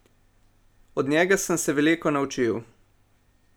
Od njega sem se veliko naučil.